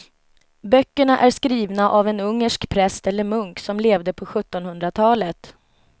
Böckerna är skrivna av en ungersk präst eller munk som levde på sjuttonhundratalet.